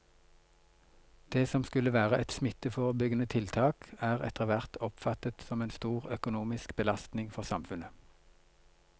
Det som skulle være et smitteforebyggende tiltak er etterhvert oppfattet som en stor økonomisk belastning for samfunnet.